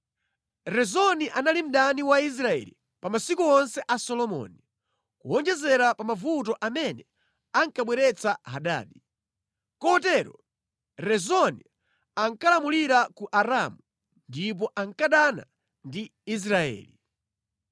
Rezoni anali mdani wa Israeli pa masiku onse a Solomoni, kuwonjezera pa mavuto amene ankabweretsa Hadadi. Kotero Rezoni ankalamulira ku Aramu ndipo ankadana ndi Israeli.